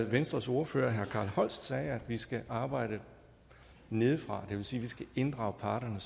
venstres ordfører herre carl holst sagde nemlig at vi skal arbejde nedefra det vil sige at vi skal inddrage parterne